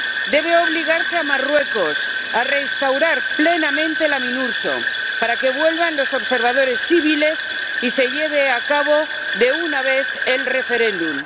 Debe obligarse a Marruecos a restaurar plenamente la MINURSO para que vuelvan los observadores civiles y se lleve a cabo de una vez el referéndum.